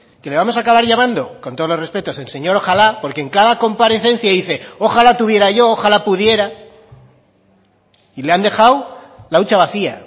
que le vamos acabar llamando con todos los respetos el señor ojala porque en cada comparecencia dice ojala tuviera yo ojala pudiera y le han dejado la hucha vacía